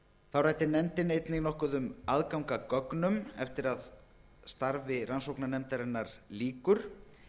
þá ræddi nefndin einnig um aðgang að gögnum eftir að starfi nefndarinnar lýkur